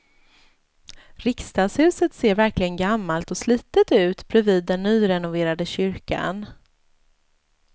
Riksdagshuset ser verkligen gammalt och slitet ut bredvid den nyrenoverade kyrkan.